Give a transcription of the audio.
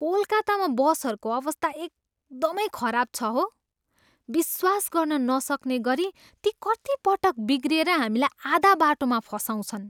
कोलकातामा बसहरूको अवस्था एकदमै खराब छ हो! विश्वास गर्न नसक्ने गरी ती कतिपटक बिग्रिएर हामीलाई आधा बाटोमा फसाउछन्।